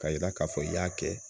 Ka yira k'a fɔ i y'a kɛ.